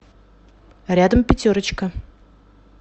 рядом пятерочка